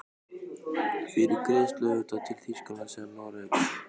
Fyrir greiðslu auðvitað, til Þýskalands eða Noregs?